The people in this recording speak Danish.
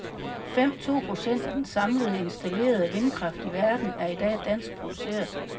Fem to procent af den samlede installerede vindkraft i verden er i dag dansk produceret.